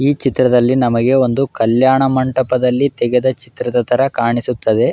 ಈ ಚಿತ್ರದಲ್ಲಿ ನಮಗೆ ಒಂದು ಕಲ್ಯಾಣ ಮಂಟಪ ದಲ್ಲಿ ತೆಗೆದ ಚಿತ್ರದ ತರ ಕಾಣಿಸುತ್ತಿದೆ.